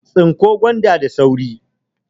Tsinko gwanda da sauri!